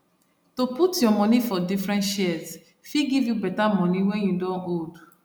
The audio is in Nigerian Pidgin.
to put your money for different shares fit give you better money when you don old